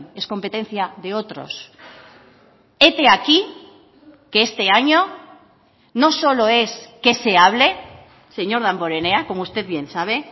es competencia de otros hete aquí que este año no solo es qué se hable señor damborenea como usted bien sabe